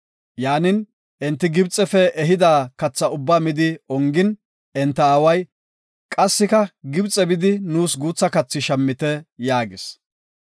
Yaanin, enti Gibxefe ehida katha ubba midi ongin, enta aaway, “Qassika Gibxe bidi nuus guutha kathi shammite” yaagis.